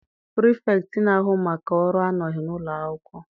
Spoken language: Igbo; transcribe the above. pirifektị na-ahu maka ọrụ anọghị n'ụlọ akwụkwọ.